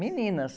Meninas.